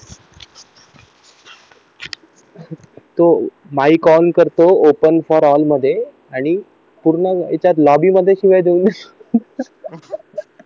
तो mike on करतो open for all मध्ये आणि पूर्ण याच्यात शिव्या देऊन घेतो